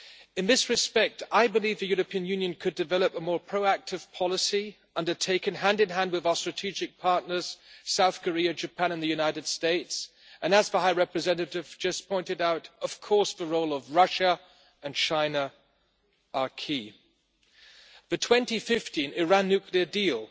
In this respect, I believe the European Union could develop a more proactive policy, undertaken hand in hand with our strategic partners South Korea, Japan and the United States and, as the High Representative just pointed out, of course the roles of Russia and China are key. The 2015 Iran nuclear deal